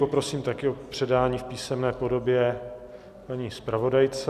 Poprosím taky o předání v písemné podobě paní zpravodajce.